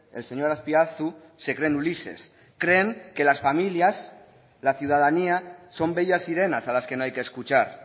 el señor azpiazu se creen ulises creen que las familias la ciudadanía son bellas sirenas a las que no hay que escuchar